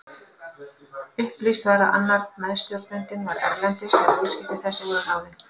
Upplýst var að annar meðstjórnandinn var erlendis þegar viðskipti þessi voru ráðin.